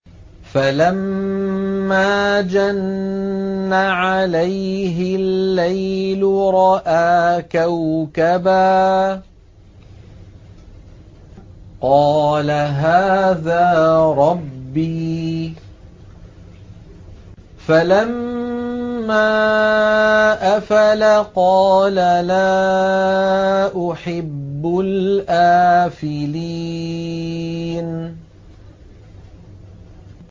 فَلَمَّا جَنَّ عَلَيْهِ اللَّيْلُ رَأَىٰ كَوْكَبًا ۖ قَالَ هَٰذَا رَبِّي ۖ فَلَمَّا أَفَلَ قَالَ لَا أُحِبُّ الْآفِلِينَ